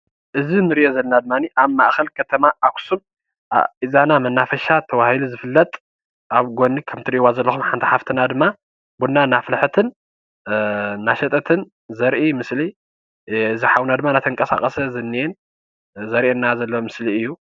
እዚ እንርእዮ ዘለና ድማኒ ኣብ ማእከል ከተማ ኣክሱም ኢዛና መናፈሻ ተባሂሉ ዝፍለጥ ኣብ ጎኒ ከምቲ እትርእይዎ ዘለኩም ሓንቲ ሓፍትና ድማ ቡና እናፍልሐትን እናሸጠትን ዘርኢ ምስሊ እዚ ሓዉና ድማ እናተቀሳቀሰ ዝንኤ ዘርእየና ዘሎ ምስሊ እዩ።